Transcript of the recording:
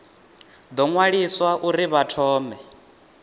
ḓo ṅwaliswa uri vha thome